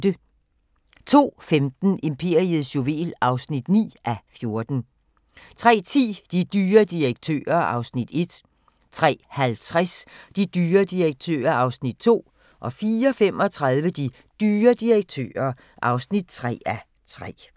02:15: Imperiets juvel (9:14) 03:10: De dyre direktører (1:3) 03:50: De dyre direktører (2:3) 04:35: De dyre direktører (3:3)